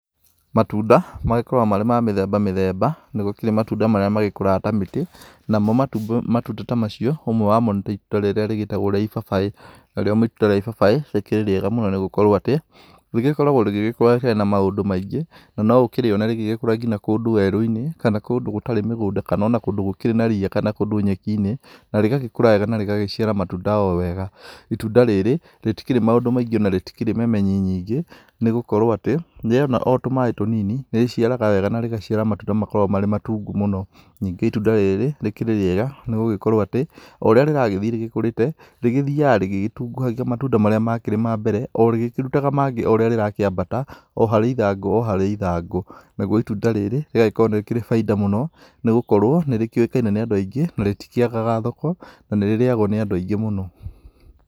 Matunda magĩkũraga marĩ ma mĩthemba mĩthemba, nĩ gũkĩrĩ matunda marĩa magĩkũraga ta mĩtĩ. Namo matunda ta macio ũmwe wamo nĩ ta ĩtunda rĩrĩa rĩgĩtagwo rĩa ĩbabaĩ, narĩo ĩtunda rĩa ĩbabaĩ rĩkĩrĩ rĩega mũno nĩgũkorwo atĩ rĩgĩkoragwo rĩgĩkũra rĩtarĩ na maũndũ maingĩ na no ũkĩrĩone rĩgĩkũra ngina kũndũ werũ-inĩ kana kũndũ gũtarĩ mũgũnda kana ona kũndũ gũkĩrĩ na riya kana ona kũndũ nyekinĩ, na rĩgagĩkũr wega na rĩgaciara matunda o wega. Ĩtunda rĩrĩ rĩtikĩrĩ maũndũ maingĩ na rĩtikĩrĩ memenyi nyingĩ nĩ gũkorwo atĩ rĩona o tũmaĩ tũnini nĩ rĩciaraga wega na rĩgaciara matunda makoragwo marĩ matungu mũno. Nyingĩ ĩtunda rĩrĩ rĩkĩrĩ rĩega nĩgũgĩkorwo atĩ oũrĩa rĩragĩthĩĩ rĩkũrĩte rĩgĩthĩyaga rĩgĩtunguhagia matunda marĩa makĩrĩ ma mbere o rĩgĩkĩrutaga mangĩ o ũrĩa rĩrakĩambata o harĩ ĩthangũ o ĩthangũ. Naguo ĩtunda rĩrĩ rĩgagĩkorwo nĩ rĩrĩa baida mũno nĩgũkorwo nĩ rĩkĩũĩkaine nĩ andũ aingĩ na rĩtikĩagaga thoko na nĩ rĩrĩyagwo nĩ andũ aingĩ mũno.